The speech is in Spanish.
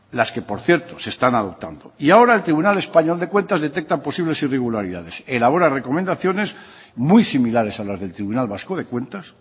las que por cierto se están adoptando y ahora el tribunal español de cuentas detecta posibles irregularidades elabora recomendaciones muy similares a las del tribunal vasco de cuentas